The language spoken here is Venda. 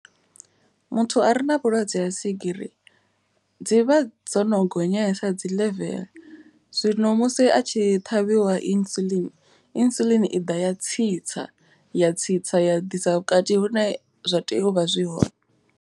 Muthu a re na vhulwadze ha swigiri dzivha dzo no gonyesa dzi level. Zwino musi a tshi ṱhavhiwa insulin, insulin i ḓa ya tsitsa ya tsitsa ya ḓisa vhukati hu ne zwa tea uvha zwi hone.